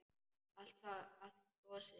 Allt frosið.